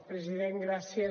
president gràcies